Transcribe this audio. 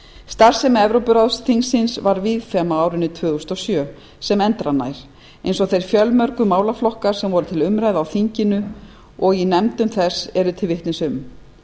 starfsemi evrópuráðsþingsins var víðfeðm á árinu tvö þúsund og sjö sem endranær eins og þeir fjölmörgu málaflokkar sem voru til umræðu voru á þinginu og í nefndum þess eru til vitnis um